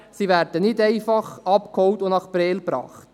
Sie werden nicht einfach abgeholt und nach Prêles gebracht.